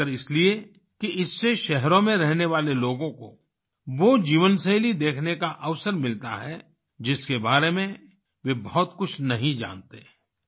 खासकर इसलिए कि इससे शहरों में रहने वाले लोगों को वो जीवनशैली देखने का अवसर मिलता है जिसके बारे में वे बहुत कुछ नहीं जानते